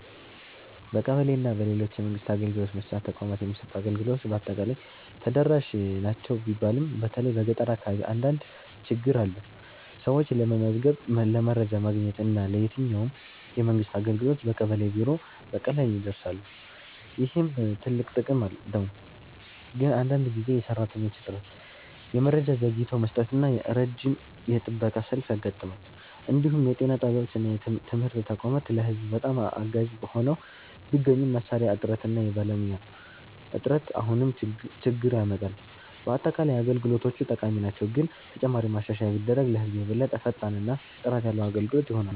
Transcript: በቀበሌ እና በሌሎች የመንግስት አገልግሎት መስጫ ተቋማት የሚሰጡ አገልግሎቶች በአጠቃላይ ተደራሽ ናቸው ቢባልም በተለይ በገጠር አካባቢ አንዳንድ ችግኝ አለ። ሰዎች ለመመዝገብ፣ ለመረጃ ማግኘት እና ለየትኛውም የመንግስት አገልግሎት በቀበሌ ቢሮ በቀላሉ ይደርሳሉ፣ ይህም ትልቅ ጥቅም ነው። ግን አንዳንድ ጊዜ የሰራተኞች እጥረት፣ የመረጃ ዘግይቶ መስጠት እና ረጅም የጥበቃ ሰልፍ ያጋጥማል። እንዲሁም የጤና ጣቢያዎች እና ትምህርት ተቋማት ለህዝብ በጣም አጋዥ ሆነው ቢገኙም መሳሪያ እጥረት እና የባለሙያ እጥረት አሁንም ችግኝ ያመጣል። በአጠቃላይ አገልግሎቶቹ ጠቃሚ ናቸው፣ ግን ተጨማሪ ማሻሻያ ቢደረግ ለህዝብ የበለጠ ፈጣን እና ጥራት ያለ አገልግሎት ይሆናል።